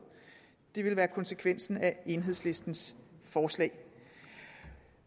det ville være konsekvensen af enhedslistens forslag